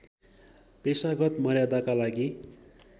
पेशागत मर्यादाका लागि